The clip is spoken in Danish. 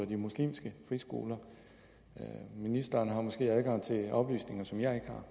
de muslimske friskoler ministeren har måske adgang til oplysninger som jeg